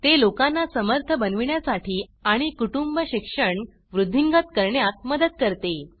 ते लोकांना समर्थ बनविण्यासाठी आणि कुटुंब शिक्षण वृद्धिंगत करण्यात मदत करते